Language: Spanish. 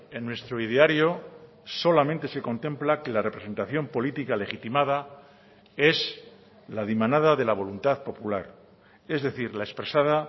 en nuestro ideario solamente se contempla que la representación política legitimada es la dimanada de la voluntad popular es decir la expresada